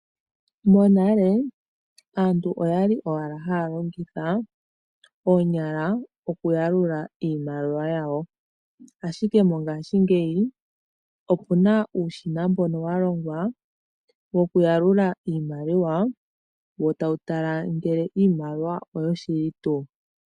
Monale aantu oyali owala haya longitha oonyala oku yalula iimaliwa yawo. Ashike mongaashingeyi opuna uushina mbono wa longwa woku yalula iimaliwa wo tawu tala ngele iimaliwa oyo shili tuu.